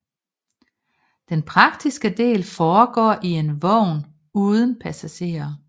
Den praktiske del foregår i en vogn uden passagerer